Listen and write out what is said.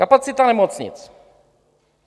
Kapacita nemocnic.